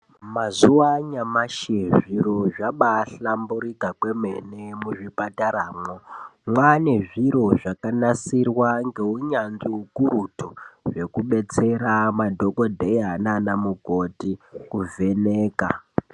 Mazuva a nyamashi zviro zvabaa hlamburika kwemene muzvipataramwo. Mwaane zviro zvakanasirwa ngeunyanzvi ukurutu zvekubetsera madhokodheya naanamukoti kuvheneka.